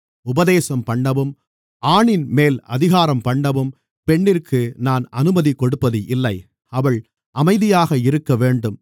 உபதேசம்பண்ணவும் ஆணின்மேல் அதிகாரம்பண்ணவும் பெண்ணிற்கு நான் அனுமதி கொடுப்பது இல்லை அவள் அமைதியாக இருக்கவேண்டும்